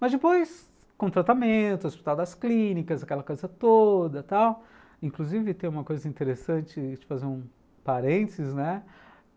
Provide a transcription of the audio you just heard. Mas depois, com tratamento, hospitais das clínicas, aquela coisa toda tal, inclusive tem uma coisa interessante, deixa eu te fazer um parênteses, né?